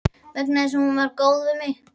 Vegna þess að hún er svo góð við mig!